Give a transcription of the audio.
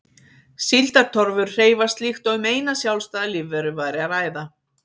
Síldartorfur hreyfast líkt og um eina sjálfstæða lífveru væri að ræða.